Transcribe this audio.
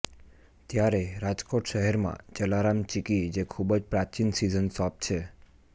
ત્યારે રાજકોટ શહેરમાં જલારામ ચીકી જે ખુબ જ પ્રાચીન સિઝન શોપ છે